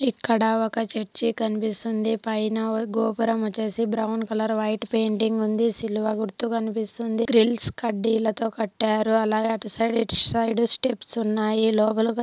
ఇక్కడ ఒక చర్చ్ కనిపిస్తుంది పైన గోపురం వోచ్చేసి బ్రౌన్ కలర్ వైట్ పెయింటింగ్ ఉంది శిలువ గుర్తు కనిపిస్తుంది గ్రీల్స్ కడ్డీలతో కట్టారు అలాగే అటు సైడ్ ఇటు సైడ్ స్టెప్స్ ఉన్నాయి-----